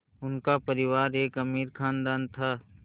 उनका परिवार एक अमीर ख़ानदान था